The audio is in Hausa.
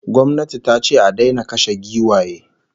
Gwamnati tace a daina kashe giwaye